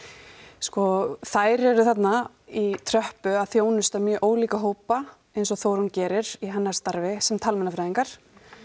sko þær eru þarna í tröppu að þjónusta mjög ólíka hópa eins og Þórunn gerir í hennar starfi sem talmeinafræðingar